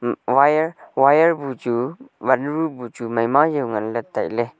um wire wire bu chu vatnu bu chu meima yau ngan le tailey.